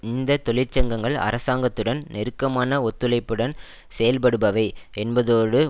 இந்த தொழிற்சங்கங்கள் அரசாங்கத்துடன் நெருக்கமான ஒத்துழைப்புடன் செயல்படுபவை என்பதோடு